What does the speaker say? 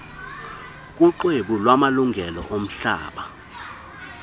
kuxwebhu lwamalungelo omhlaba